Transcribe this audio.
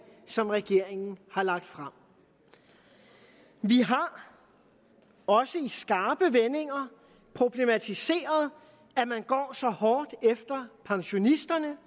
som regeringen har lagt frem vi har også i skarpe vendinger problematiseret at man går så hårdt efter pensionisterne